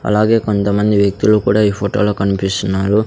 అలాగే కొంతమంది వ్యక్తులు కూడా ఈ ఫోటోలో కనిపిస్తున్నారు.